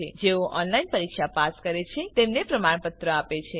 જેઓ ઓનલાઇન પરીક્ષા પાસ કરે છે તેમને પ્રમાણપત્ર આપે છે